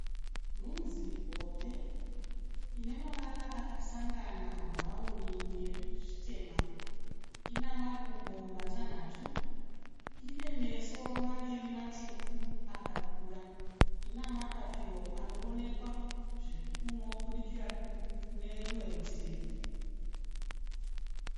Nhunzi hombe ine mavara akasangana bhurauni nezvitema. Ina makumbo matanhatu. Ine meso maviri matsvuku akakura. Ine mapapiro anovonekwa zvinobudikira kune rumwe rutivi.